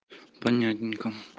понятненько